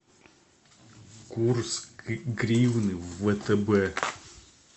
курс гривны в втб